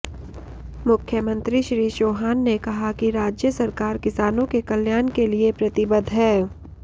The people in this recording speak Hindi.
मुख्यमंत्री श्री चौहान ने कहा कि राज्य सरकार किसानों के कल्याण के लिये प्रतिबद्ध है